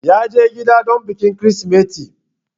ya je gida don bikin krismeti